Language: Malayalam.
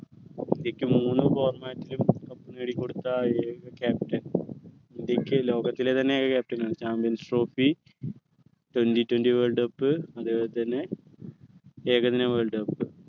ഇന്ത്യയ്ക്ക് മൂന്നു cup നേടിക്കൊടുത്ത ഏക captain ഇന്ത്യയ്ക്ക് ലോകത്തിലെ തന്നെ ഒരു captain champions trophy twenty twenty world cup അതുപോലെ തന്നെ ഏകദിന worldcup